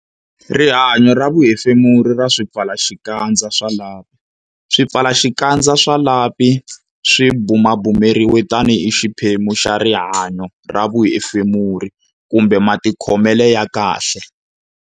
Rihanyo ra vuhefemuri ra swipfalaxikandza swa lapi Swipfalaxikandza swa lapi swi bumabumeriwa tanihi xiphemu xa rihanyo ra vuhefemuri kumbe matikhomelo ya kahle.